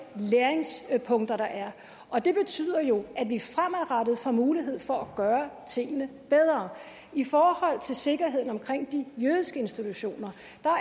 læringspunkter der er og det betyder jo at vi fremadrettet får mulighed for at gøre tingene bedre i forhold til sikkerheden omkring de jødiske institutioner